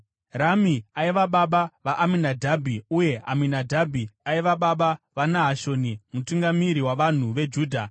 Rami aiva baba vaAminadhabhi, uye Aminadhabhi aiva baba vaNahashoni mutungamiri wavanhu veJudha.